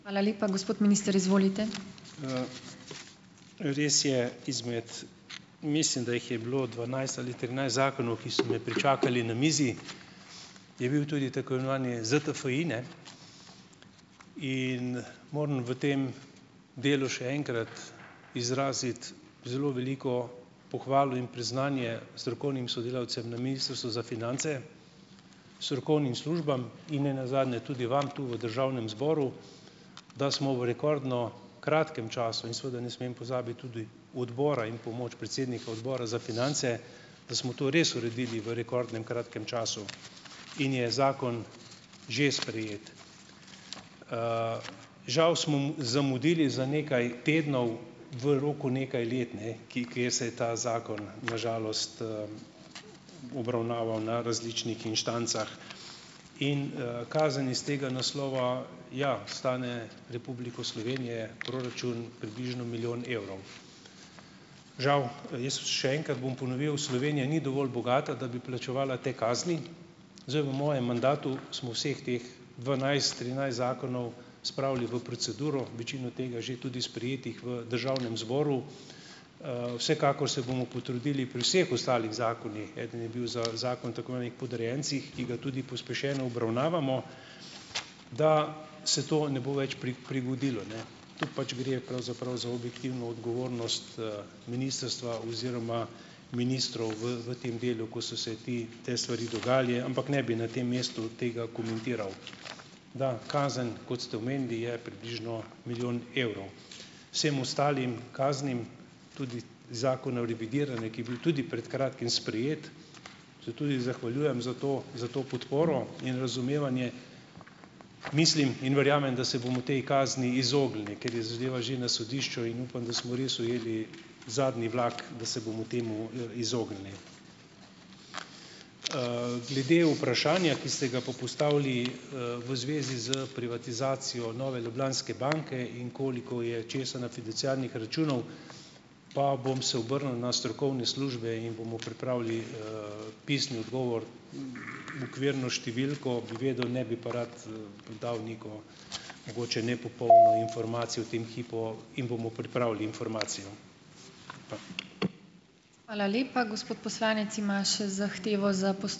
Res je. Izmed - mislim, da jih je bilo dvanajst ali trinajst zakonov, ki so me pričakali na mizi - je bil tudi tako imenovani ZTFI, ne. In moram v tem delu še enkrat izraziti zelo veliko pohvalo in priznanje strokovnim sodelavcem na Ministrstvu za finance, strokovnim službam in nenazadnje tudi vam tu v državnem zboru, da smo v rekordno kratkem času - in seveda ne smem pozabiti tudi odbora in pomoč predsednika Odbora za finance - da smo to res uredili v rekordnem kratkem času. In je zakon že sprejet. Žal smo zamudili za nekaj tednov v roku nekaj let, ne. Ki kjer se je ta zakon na žalost, obravnaval na različnih instancah. In, kazen iz tega naslova - ja, stane Republiko Slovenije, proračun, približno milijon evrov. Žal - jaz še enkrat bom ponovil - Slovenija ni dovolj bogata, da bi plačevala te kazni. Zdaj, v mojem mandatu smo vseh teh dvanajst, trinajst zakonov spravili v proceduro. Večino tega je že tudi sprejetih v državnem zboru. Vsekakor se bomo potrudili pri vseh ostalih zakonih - eden je bil za zakon tako imenovanih podrejencih ki ga tudi pospešeno obravnavamo - da se to ne bo več prigodilo, ne. Tu pač gre pravzaprav za objektivno odgovornost, ministrstva oziroma ministrov v v tem delu, ko so se ti te stvari dogajale. Ampak ne bi na tem mestu tega komentiral. Da kazen, kot ste omenili, je približno milijon evrov. Vsem ostalim kaznim - tudi Zakona o revidiranju, ki je bil tudi pred kratkim sprejet, se tudi zahvaljujem za to za to podporo in razumevanje - mislim in verjamem, da se bomo potem kazni izognili. Ker je zadeva že na sodišču, in upam, da smo res ujeli zadnji vlak, da se bomo temu, izognili. Glede vprašanja, ki ste ga pa postavili, v zvezi s privatizacijo Nove Ljubljanske banke in koliko je česa na fiduciarnih računov, pa bom se obrnil na strokovne službe in bomo pripravili, pisni odgovor, okvirno številko bi vedel, ne bi pa rad, dal neko mogoče nepopolno informacijo v tem hipu in bomo pripravili informacijo.